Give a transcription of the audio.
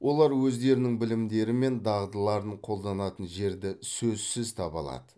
олар өздерінің білімдері мен дағдыларын қолданатын жерді сөзсіз таба алады